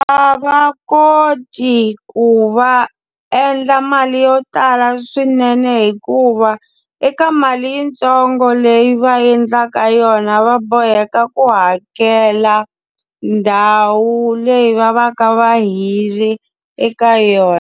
A va koti ku va endla mali yo tala swinene hikuva, eka mali yitsongo leyi va endlaka yona va boheka ku hakela ndhawu leyi va va ka va hirhe eka yona.